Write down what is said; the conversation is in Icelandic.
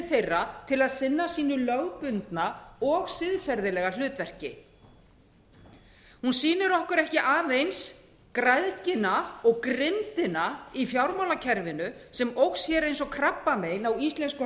þeirra til að sinna sínu lögbundna og siðferðilega hlutverki hún sýnir okkur ekki aðeins græðgina og grimmdina í fjármálakerfinu sem óx eins og krabbamein á íslensku